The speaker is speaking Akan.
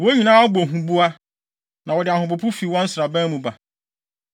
Wɔn nyinaa bɔ huboa, na wɔde ahopopo fi wɔn nsraban mu ba.